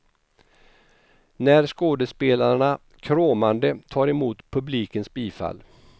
När skådespelarna kråmande tar emot publikens bifall.